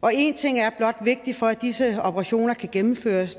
og en ting er blot vigtig for at disse operationer kan gennemføres og